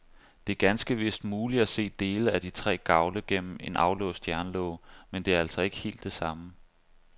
Det er ganske vist muligt at se dele af de tre gavle gennem en aflåst jernlåge, men det er altså ikke helt det samme.